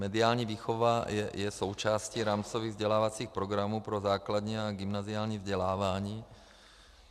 Mediální výchova je součástí rámcových vzdělávacích programů pro základní a gymnaziální vzdělávání.